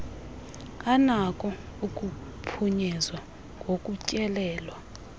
anako ukuphunyezwa ngokutyelelwa